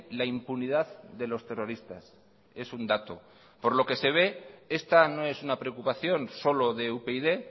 la impunidad de los terroristas es un dato por lo que se ve esta no es una preocupación solo de upyd